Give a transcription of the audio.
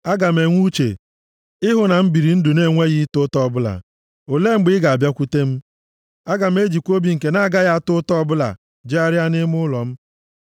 Aga m enwe uche ị hụ na m biri ndụ na-enweghị ịta ụta ọbụla, olee mgbe ị ga-abịakwute m? Aga m ejikwa obi nke a na-agaghị ata ụta ọbụla jegharịa nʼime ụlọ m.